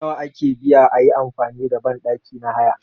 Nawa ake biya ayi amfani da banɗaki na haya